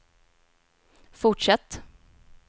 fortsätt